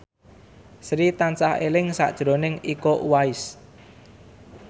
Sri tansah eling sakjroning Iko Uwais